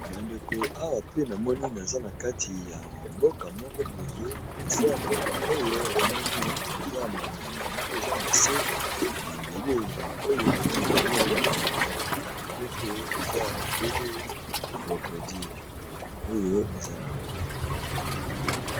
Ba ndeko awa pe na moni naza na kati ya mboka moko boye mais na se ya mboka oyo na moni eza ba nyama moko eza na se na mabele, nyama oyo ba bengaka yango na monoko ya lopoto eza obele crocodile oyo eza awa .